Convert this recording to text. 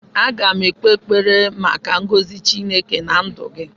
Aga m ekpe ekpere maka ngọzị Chineke na ndụ gị